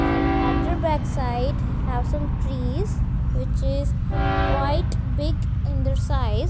and other backside have some trees which is quite big in the size.